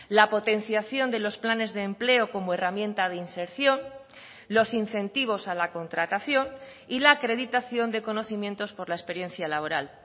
la potenciación de los planes de empleo como herramienta de inserción los incentivos a la contratación y la acreditación de conocimientos por la experiencia laboral